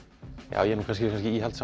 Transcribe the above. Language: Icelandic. ég er kannski